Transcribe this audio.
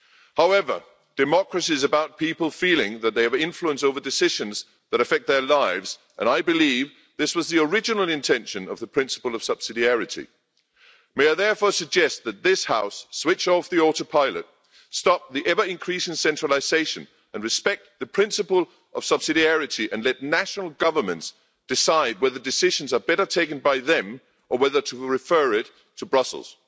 However, democracy is about people feeling that they have influence over decisions that affect their lives, and I believe this was the original intention of the principle of subsidiarity. May I therefore suggest that this House switch off the auto pilot, stop the ever increasing centralisation, respect the principle of subsidiarity and let national governments decide whether decisions are better taken by them or whether to refer it to Brussels.